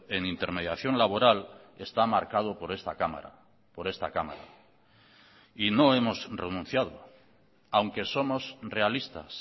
en intermediación laboral está marcado por esta cámara por esta cámara y no hemos renunciado aunque somos realistas